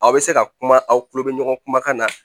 Aw bɛ se ka kuma aw tulo bɛ ɲɔgɔn kumakan na